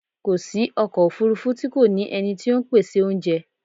Kò sí ọkọ̀ òfúrúfú tí kò ní ẹni tí ó ń pèsè oúnjẹ.